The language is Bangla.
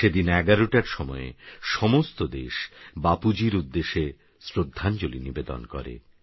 সেদিন১১টারসময়েসমস্তদেশবাপুজীরউদ্দেশেশ্রদ্ধাঞ্জলীনিবেদনকরে